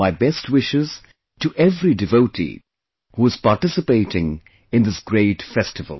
My best wishes to every devotee who is participating in this great festival